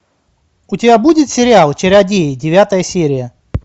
у тебя будет сериал чародеи девятая серия